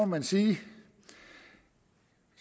man sige